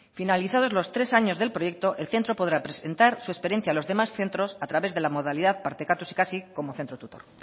finalizados los tres años del proyecto el centro podrá presentar su experiencia a los demás centros a través de las modalidades partekatuz ikasi como centro tutor